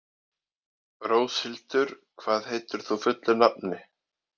Róshildur, hvað heitir þú fullu nafni?